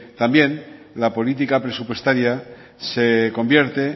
también la política presupuestaria se convierte